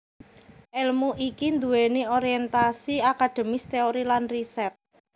Èlmu iki nduwèni orientasi akademis teori lan riset